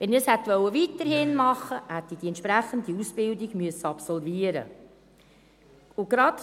Wenn ich das weiterhin hätte machen wollen, hätte ich die entsprechende Ausbildung absolvieren müssen.